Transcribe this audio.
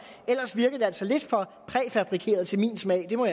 ellers virker det altså lidt for præfabrikeret for min smag må